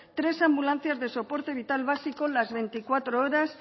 tres ambulancias de soporte vital básico las veinticuatro horas